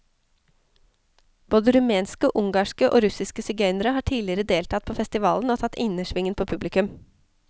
Både rumenske, ungarske og russiske sigøynere har tidligere deltatt på festivalen og tatt innersvingen på publikum.